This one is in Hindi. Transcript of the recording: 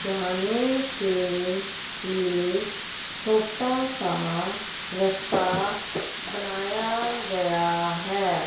जाने के लिए छोटा सा रस्ता बनाया गया है।